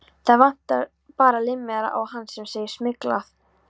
Það vantar bara límmiðann á hann sem segir SMYGLAÐ.